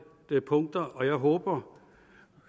punkter og jeg håber